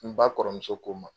N ba kɔrɔmuso ko ma